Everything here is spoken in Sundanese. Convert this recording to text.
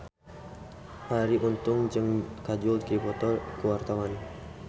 Arie Untung jeung Kajol keur dipoto ku wartawan